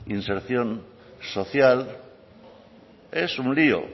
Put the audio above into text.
inserción social es un lio